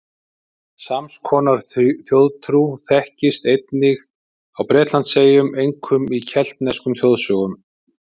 Sams konar þjóðtrú þekkist einnig á Bretlandseyjum, einkum í keltneskum þjóðsögum.